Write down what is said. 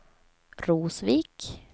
Rosvik